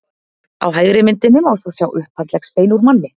á hægri myndinni má svo sjá upphandleggsbein úr manni